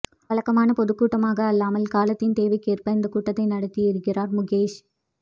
வழக்கமான பொதுக்கூட்டமாக அல்லாமல் காலத்தின் தேவைக்கேற்ப இந்தக் கூட்டத்தை நடத்தி இருக்கிறார் முகேஷ்